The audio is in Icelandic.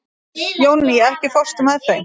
Jónný, ekki fórstu með þeim?